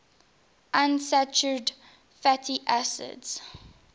unsaturated fatty acids